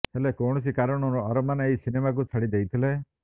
ହେଲେ କୌଣସି କାରଣରୁ ଅରମାନ୍ ଏହି ସିନେମାକୁ ଛାଡି ଦେଇଥିଲେ